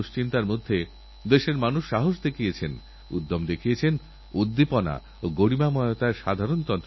ভারত সরকার আমাদের সমস্যাগুলির সমাধানের জন্য এই ধরনের নতুনপ্রযুক্তির সন্ধান দিতে পারলে উদ্ভাবনকারীকে বিশেষভাবে পুরস্কৃত করে উৎসাহ দিতেচায়